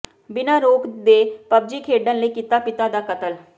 ਬਿਨਾਂ ਰੋਕ ਦੇ ਪਬਜੀ ਖੇਡਣ ਲਈ ਕੀਤਾ ਪਿਤਾ ਦਾ ਕਤਲ